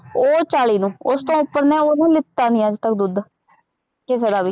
ਉਹ ਚਾਲੀ ਨੂੰ, ਉਸ ਤੋਂ ਉੱਪਰ ਨਾ ਉਹਨੂੰ ਲਿਤਾ ਨਹੀਂ ਅੱਜ ਤੱਕ ਦੁੱਧ,